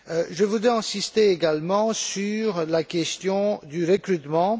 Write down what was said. Je voudrais insister également sur la question du recrutement.